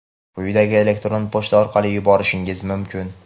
quyidagi elektron pochta orqali yuborishingiz mumkin:.